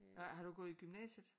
Har du gået i gymnasiet?